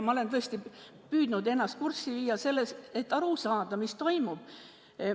Ma olen tõesti püüdnud ennast kurssi viia, et aru saada, mis seal toimub.